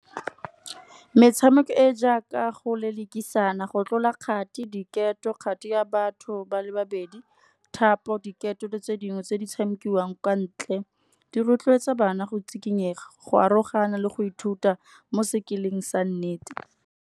Metshameko e jaaka go lelekisana go tlola kgati, diketo, kgati ya batho ba le babedi. Thapo, diketo le tse dingwe tse di tshamikiwang kwa ntle, di rotloetsa bana go tsikinyega, go arogana le go ithuta mo sekeleng sa nnete.